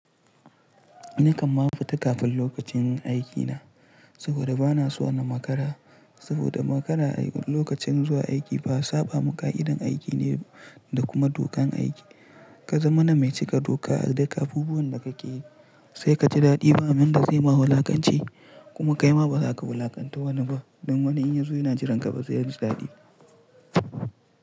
Ni kamma na fita kafin lokacin aikina saboda bana so na makara, saboda makara lokacin zuwa aiki ba saba ma ka'idan aiki ne da kuma dokan aiki. Ka zamana mai cika doka a duk abubuwan da kake yi sai ka ji daɗi ba wanda zai ma wulakanci kuma kai ma baza ka wulakanta wani ba. Don wani in yazo yana jiranka baze ji daɗi.